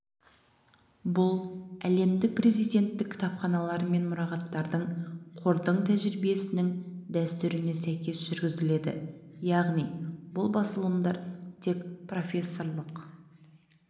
бұл әлемдік президенттік кітапханалар мен мұрағаттардың қордың тәжірибесінің дәстүріне сәйкес жүргізіледі яғни бұл басылымдар тек профессорлық